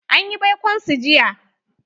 An yi baikon su jiya.